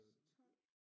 12